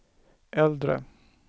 äldre